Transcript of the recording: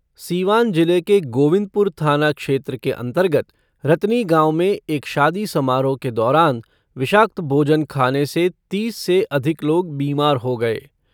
सीवान जिले के गोविंदपुर थाना क्षेत्र के अंतर्गत रतनी गांव में एक शादी समारोह के दौरान विषाक्त भोजन खाने से तीस से अधिक लोग बीमार हो गये।